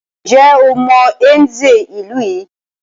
Ǹjẹ́ o mọ Nze ìlú yìí?